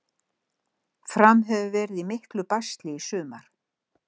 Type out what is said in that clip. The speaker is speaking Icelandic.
Fram hefur verið í miklu basli í sumar.